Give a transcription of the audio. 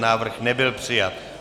Návrh nebyl přijat.